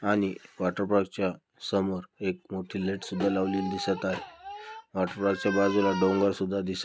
आणि वॉटरपार्क च्या समोर एक मोठी लाईट सुद्धा लावलेली दिसत आहे वॉटरपार्क च्या बाजूला डोंगर सुद्धा दिसत --